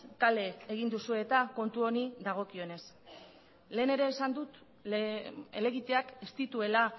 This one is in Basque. kale egin duzue eta kontu honi dagokionez lehen ere esan dut helegiteak ez dituela